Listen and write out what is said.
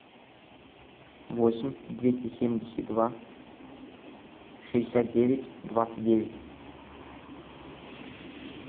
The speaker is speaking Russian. восемь двести семьдесят два шестьдесят девять двадцать девять